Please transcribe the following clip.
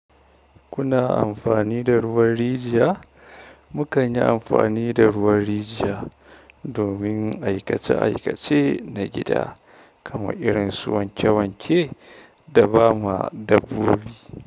Kuna amfani da ruwan rijiya? Mukan yi amfani da ruwan rijiya domin aikace aikace na gida kamar irin su wanke wanke da bama dabbobi.